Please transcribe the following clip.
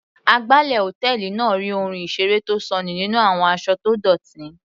Agbálẹ̀ hòtẹ́ẹ̀lì náà rí ohun ìseré tó sọnù nínú àwọn aṣọ tó dọ́tì.